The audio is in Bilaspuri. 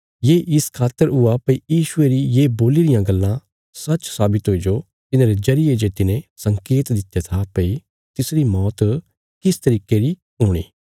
ये इस खातर हुआ भई यीशुये री ये बोल्ली रियां गल्लां सच्च साबित हुईजो तिन्हांरे जरिये जे तिने संकेत दित्या था भई तिसरी मौत किस तरीके री हुणी